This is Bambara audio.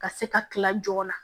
Ka se ka kila joona